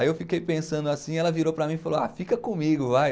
Aí eu fiquei pensando assim, ela virou para mim e falou, fica comigo, vai.